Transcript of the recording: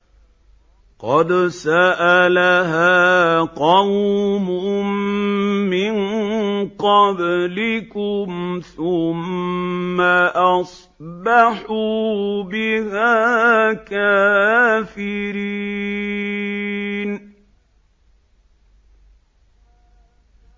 قَدْ سَأَلَهَا قَوْمٌ مِّن قَبْلِكُمْ ثُمَّ أَصْبَحُوا بِهَا كَافِرِينَ